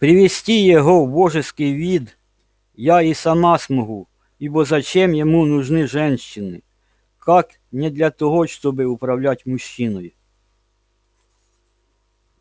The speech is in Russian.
привести его в божеский вид я и сама смогу ибо зачем ему нужны женщины как не для того чтобы управлять мужчиной